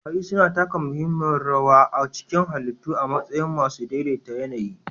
Kwari suna taka muhimmiyar rawa a cikin halittu a matsayin masu daidai ta yAnayi